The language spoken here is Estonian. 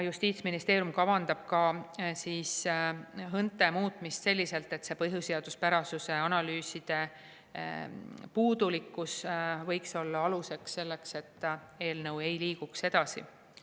Justiitsministeerium kavandab ka HÕNTE muutmist selliselt, et põhiseaduspärasuse analüüside puudulikkus võiks olla alus selleks, et eelnõu ei liigu edasi.